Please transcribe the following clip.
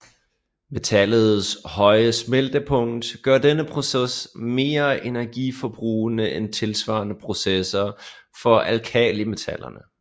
Metallets høje smeltepunkt gør denne proces mere energiforbrugende end tilsvarende processer for alkalimetallerne